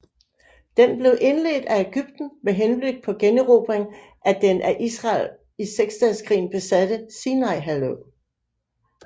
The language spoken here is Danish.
Den blev indledt af Ægypten med henblik på generobring af den af Israel i Seksdageskrigen besatte Sinaihalvø